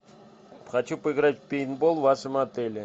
хочу поиграть в пейнтбол в вашем отеле